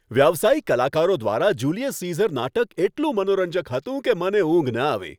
વ્યાવસાયિક કલાકારો દ્વારા જુલિયસ સીઝર નાટક એટલું મનોરંજક હતું કે મને ઊંઘ ન આવી.